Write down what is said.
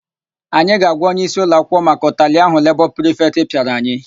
Anyị ga-agwa onyeisi ụlọakwụkwọ maka ụtalị ahụ lebọ prifetị pịara anyị.